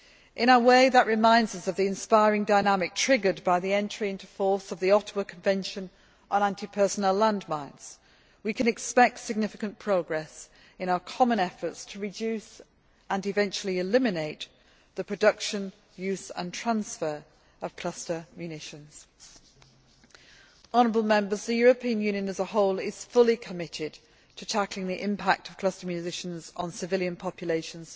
In a way that reminds us of the inspiring dynamic triggered by the entry into force of the Ottawa Convention on Anti Personnel Landmines, we can expect significant progress in our common efforts to reduce and eventually eliminate the production, use and transfer of cluster munitions. The European Union as a whole is fully committed to tackling the impact of cluster munitions on civilian populations